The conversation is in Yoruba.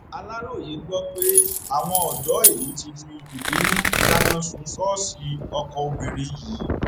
aláròye gbọ pé àwọn ọdọ ìlú ti fi ìbínú dáná sun ṣọọṣì ọkọ obìnrin yìí